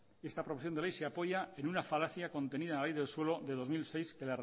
esta proposición de ley se apoya en una falacia contenida a la ley del suelo del dos mil seis que